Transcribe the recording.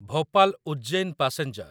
Bhopal Ujjain passenger